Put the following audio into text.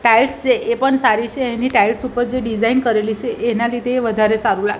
tiles છે એ પણ સારી છે એની ટાઇલ્સ ઉપર જે ડિઝાઇન કરેલી છે એના લીધે એ વધારે સારું લાગે--